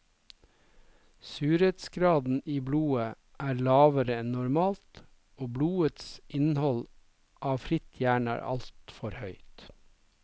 Surhetsgraden i blodet er lavere enn normalt, og blodets innhold av fritt jern er altfor høyt.